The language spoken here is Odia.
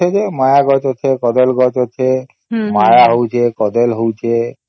ହଁ ଅଛେ ମାୟା ଗଛ ଅଛେ କଦଳୀ ଗଛ ଅଛେ ମାୟା ହଉଛେ କଦଳୀ ହଉଛେ